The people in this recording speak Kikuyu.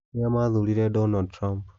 Nĩa maathuurire Donald Trump?